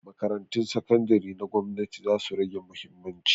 Makarantun sakandari na gwamnati zasu rage mahimmanci.